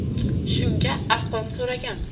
Shunga arqon so‘ragan.